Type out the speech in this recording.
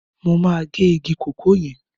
Mo máa gé igi kòkó yẹn.